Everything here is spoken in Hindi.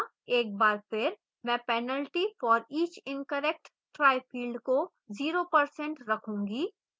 एक बार फिर मैं penalty for each incorrect try field को 0% रखूंगी